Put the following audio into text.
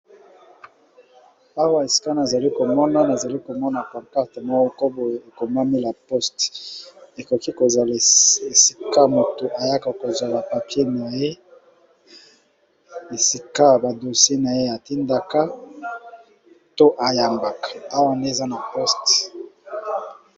Awa eskae azali komona nazali komona pacarte moko ko boye ekomamila poste ekoki kozala esika moto ayaka kozwa bapapie na ye esika badosi na ye atindaka to ayambaka awa ne eza na poste.